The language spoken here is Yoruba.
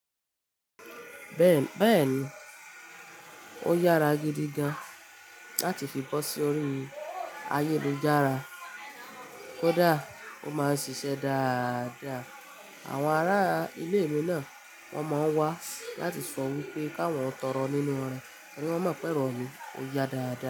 Bẹ́ẹ̀ni, ó yára gidi gan-an láti fi bọ́ sí orí ayélujára. Kódà ó máa ń ṣiṣẹ́ dáadáa. Àwọn ará ilé mi náà wọ́n máa ń wá láti sọ wípé ká wọ́n tọrọ nínú rẹ torí wọ́n mọ̀ pé erọ̀ mi ò ya dáadáa.